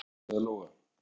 Margrét, svaraði Lóa.